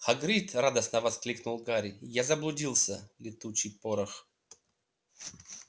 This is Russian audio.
хагрид радостно воскликнул гарри я заблудился летучий порох